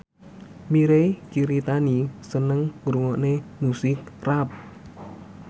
Mirei Kiritani seneng ngrungokne musik rap